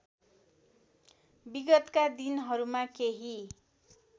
विगतका दिनहरूमा केही